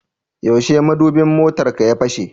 Yaushe madubin motarka ya fashe?